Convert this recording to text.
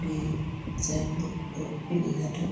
be sayinbot ɗo ɓili haa dow.